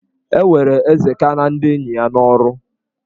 E were Ezeka na ndị enyi ya n'ọrụ.